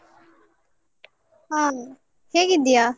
ಹ ಹೇಗಿದ್ದೀಯಾ?